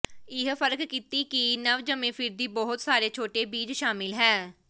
ਇਹ ਫਰਕ ਕੀਤੀ ਕਿ ਨਵਜੰਮੇ ਫਿਰਦੀ ਬਹੁਤ ਸਾਰੇ ਛੋਟੇ ਬੀਜ ਸ਼ਾਮਿਲ ਹੈ